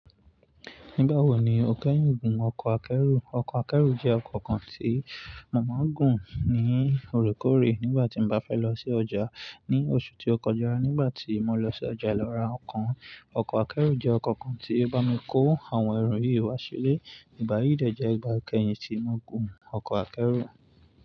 Nígbà wo ni o kẹ́yìn gùn ọkọ̀ akẹ́rù? Ọkọ̀ akẹ́rù jẹ́ ọkọ̀ kan tí mo màá gùn ní òrekoorè nígbà tí n bá fẹ́ lọ sí ọjà ní oṣù tí ó kọjá nígbà tí mo lọ sí ọjà lọra nkàn. Ọkọ̀ akẹ́rù jẹ́ ọkọ̀ kan tí ó bá mi kó àwọn ẹrù yí wá sílé. Ìgbà yìí dẹ̀ jẹ́ ìgbà kẹ́yìn tí mo gùn ọkọ̀ akẹ́rù.